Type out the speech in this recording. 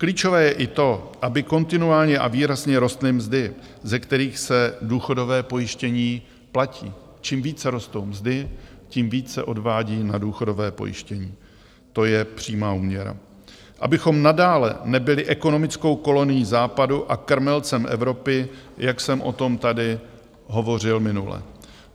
Klíčové je i to, aby kontinuálně a výrazně rostly mzdy, ze kterých se důchodové pojištění platí - čím více rostou mzdy, tím více se odvádí na důchodovém pojištění, to je přímá úměra - abychom nadále nebyli ekonomickou kolonií západu a krmelcem Evropy, jak jsem o tom tady hovořil minule.